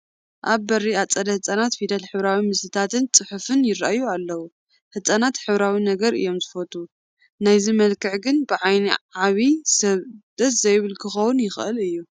ኣብ በሪ ኣፀደ ህፃናት ፊደል ሕብራዊ ምስልታትን ፅሑፋትን ይርአዩ ኣለዉ፡፡ ህፃናት ሕብራዊ ነገር እዮም ዝፈትዉ፡፡ ናይዚ መልክዕ ግን ብዓይኒ ዓብዪ ሰብ ደስ ዘይብል ክኾን ይኽእል እዩ፡፡